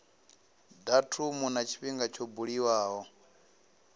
datumu na tshifhinga tsho buliwaho